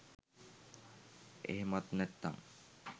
එහෙමත් නැත්නං